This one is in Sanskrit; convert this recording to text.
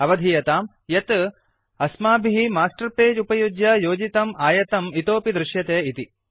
अवधीयताम् यत् अस्माभिः मास्टर् पगे उपयुज्य योजितम् आयतम् इतोऽपि दृश्यते इति